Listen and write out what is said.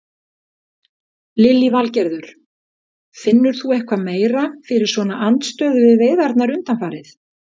Lillý Valgerður: Finnur þú eitthvað meira fyrir svona andstöðu við veiðarnar undanfarið?